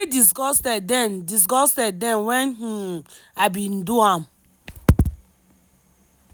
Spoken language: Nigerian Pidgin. i dey disgusted den disgusted den wen um i bin do am.